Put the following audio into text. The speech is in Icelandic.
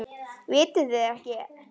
Vitið þið þetta ekki?